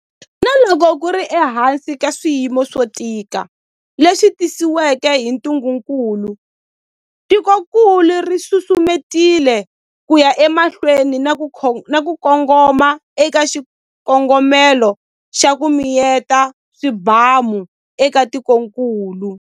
Na loko ku ri ehansi ka swiyimo swo tika leswi tisiweke hi ntungukulu, tikokulu ri susumetile ku ya emahlweni na ku kongoma eka xikongomelo xa 'ku miyeta swibamu' eka tikokulu.